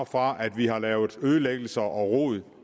fra at vi har lavet ødelæggelser og rod